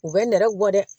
U bɛ nɛrɛ bɔ dɛ